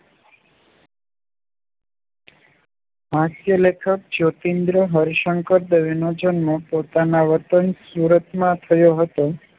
હાસ્ય લેખક જ્યોતીન્દ્ર હર્ષ શંકર દવે જન્મ પોતાના વતન સુરતમાં થયો હતો